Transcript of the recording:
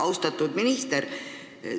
Austatud minister!